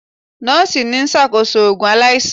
Nọọsi n ṣakoso oogun alaisan.